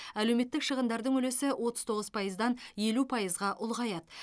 әлеуметтік шығындардың үлесі отыз тоғыз пайыздан елу пайызға ұлғаяды